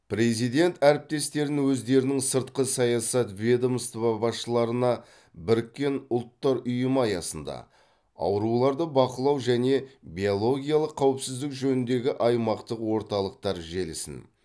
президент әріптестерін өздерінің сыртқы саясат ведомство басшыларына біріккен ұлттар ұйымы аясында ауруларды бақылау және биологиялық қауіпсіздік жөніндегі аймақтық орталықтар желісін